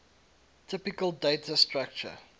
typical data structure